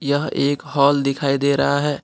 यह एक हॉल दिखाई दे रहा है।